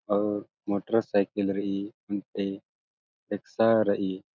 अऊर मोटरसाइकिल रइई ओन्टे रेक्शा रइई।